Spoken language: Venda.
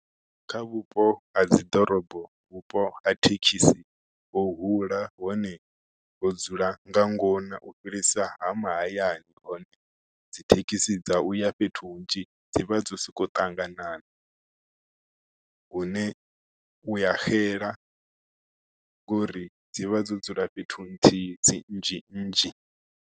Kha vhupo ha dzi ḓorobo vhupo ha thekhisi ho hula hone ho dzula nga ngona u fhirisa ma mahayani hone dzi thekhisi dza fhethu hunzhi dzi vha dzo soko ṱangana na hune uya xela ngori dzi vha dzo dzula fhethu nthihi dzi nnzhi nnzhi.